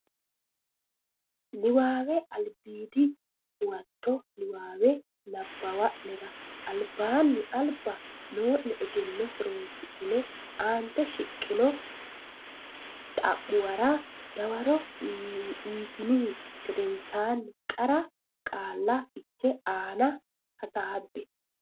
Nabbawate Albiidi Huwato Niwaawe nabbawa nera albaanni alba noo ne egenno horonsidhine aante shiqqino xa muwara dawaro uytinihu gedensaanni qara qaalla fiche aana hasaabbe.